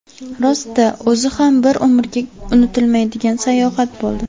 Rost-da, o‘zi ham bir umrga unutilmaydigan sayohat bo‘ldi.